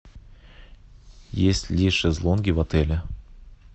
есть ли шезлонги в отеле